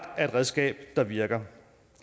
er et redskab der virker